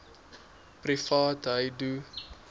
privaatheidu